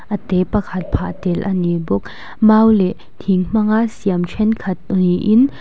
a te pakhat phah tel a ni bawk mau leh thing hmanga siam thenkhat niin--